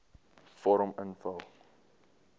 vorm invul